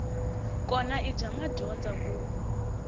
kona i bya madyondza ku